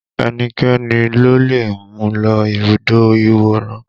Ẹnikẹ́ni lo lè mú lọ ibùdó ìwòran